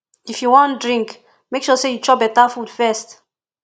if you wan drink make sure say you chop beta food first